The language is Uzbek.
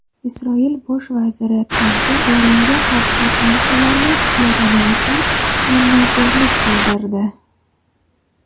Isroil bosh vaziri Trampga Eronga qarshi sanksiyalarni tiklagani uchun minnatdorlik bildirdi .